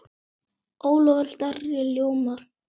Ólafur Darri ljómar.